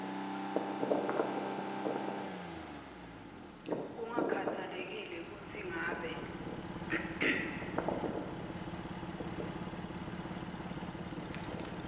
kungakhatsalekile kutsi ngabe